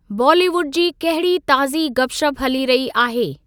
बॉलीवुड जी कहिड़ी ताज़ी गप शप हली रही आहे।